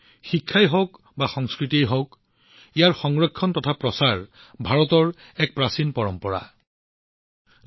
শিক্ষা বা সংস্কৃতিৰ বিষয়েই হওক ইয়াৰ সংৰক্ষণ বা প্ৰচাৰৰ বিষয়েই হওক এইটো ভাৰতৰ এক প্ৰাচীন পৰম্পৰা হৈ আহিছে